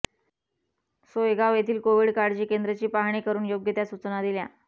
सोयगाव येथील कोविड काळजी केंद्र ची पाहणी करून योग्य त्या सूचना दिल्या